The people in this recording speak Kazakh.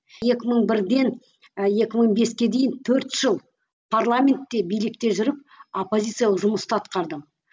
екі мың бірден ы екі мың беске дейін төрт жыл парламентте билікте жүріп оппозициялық жұмысты ақтардым